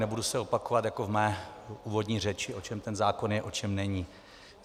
Nebudu se opakovat jako v mé úvodní řeči, o čem ten zákon je, o čem není.